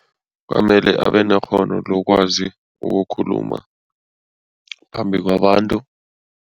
Kwamele abe nekghono lokwazi ukukhuluma phambi kwabantu.